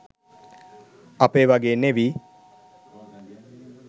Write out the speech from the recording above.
අපේ වගේ නෙවි